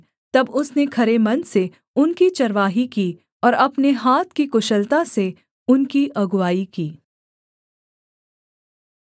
तब उसने खरे मन से उनकी चरवाही की और अपने हाथ की कुशलता से उनकी अगुआई की